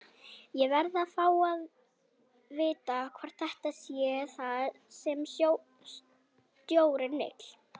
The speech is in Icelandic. Ég verð að fá að vita hvort þetta sé það sem stjórinn vill?